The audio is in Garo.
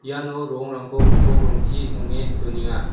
iano rongrangko gipok rongchi nonge donenga.